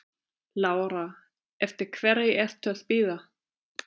Lára: Eftir hverri ertu að bíða?